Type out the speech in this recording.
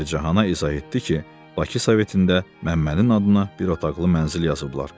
Pəricahana izah etdi ki, Baksovetində Məmmənin adına bir otaqlı mənzil yazıblar.